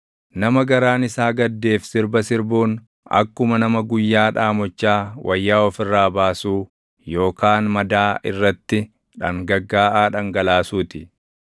Nama garaan isaa gaddeef sirba sirbuun akkuma nama guyyaa dhaamochaa wayyaa of irraa baasuu, yookaan madaa irratti dhangaggaaʼaa dhangalaasuu ti.